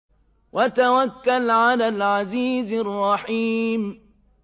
وَتَوَكَّلْ عَلَى الْعَزِيزِ الرَّحِيمِ